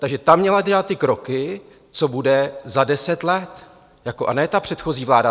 Takže ta měla dělat ty kroky, co bude za deset let, a ne ta předchozí vláda.